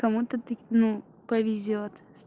кому-то тык не повезёт